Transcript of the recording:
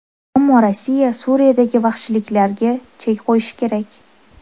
Ammo Rossiya Suriyadagi vahshiyliklariga chek qo‘yishi kerak”.